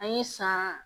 An ye san